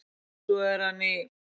Svo er hann í